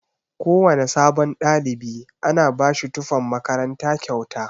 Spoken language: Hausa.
Kowana sabon ɗalibi ana bashi tufan makaranta kyauta.